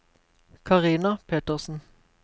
Carina Petersen